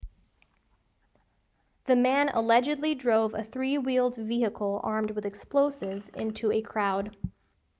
the man allegedly drove a three-wheeled vehicle armed with explosives into a crowd